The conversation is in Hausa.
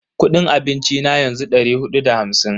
Kudin abinci na yanzu dari hudu da hamsin ne.